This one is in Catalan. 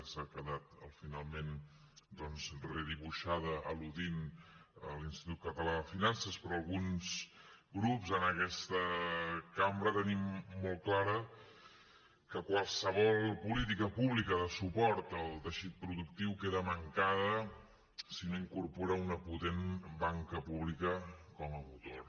s’ha quedat finalment doncs redibuixada al·ludint a l’institut català de finances però alguns grups en aquesta cambra tenim molt clar que qualsevol política pública de suport al teixit productiu queda mancada si no incorpora una potent banca pública com a motor